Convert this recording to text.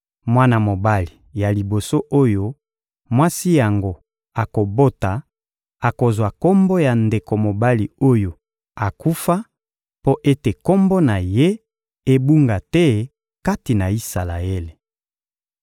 Mwana mobali ya liboso oyo mwasi yango akobota akozwa kombo ya ndeko mobali oyo akufa mpo ete kombo na ye ebunga te kati na Isalaele.